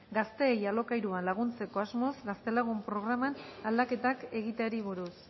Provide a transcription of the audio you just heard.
gazteei alokairuan laguntzeko asmoz gaztelagun programan aldaketak egiteari buruz